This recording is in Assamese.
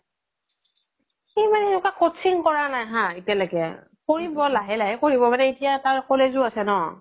সি মানে সেনেকোৱা coaching কৰা নাই হা এতিয়া লৈকে কৰিব মানে লাহে লাহে কৰিব মানে এতিয়া তাৰ college ও আছে ন